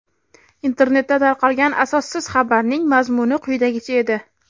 Internetda tarqalgan asossiz xabarning mazmuni quyidagicha edi:.